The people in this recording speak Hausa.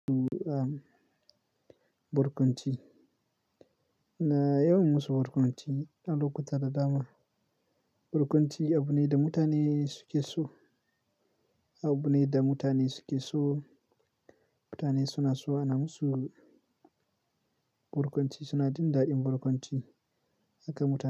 Am barkwanci. Ina yawan musu barkwanci a lokuta da dama. Barkwanco abu ne da mutane suke so, abu ne da mutane suke so. Mutane suna so ana musu barkwanci suna jin daɗin barkwanci. Haka mutane.